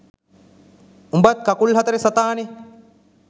උඹත් කකුල් හතරෙ සතානේ